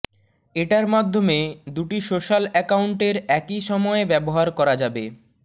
এটার মাধ্যমে দুটি সোশ্যাল অ্যাকাউন্টের একই সময়ে ব্যবহার করা যাবে